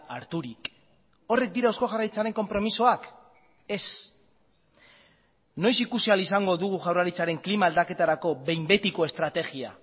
harturik horrek dira eusko jaurlaritzaren konpromisoak ez noiz ikusi ahal izango dugu jaurlaritzaren klima aldaketarako behin betiko estrategia